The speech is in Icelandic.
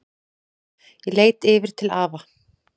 Ég leit yfir til afa.